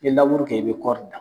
I be kɛ i be kɔri dan.